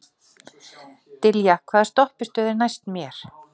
Dilja, hvaða stoppistöð er næst mér?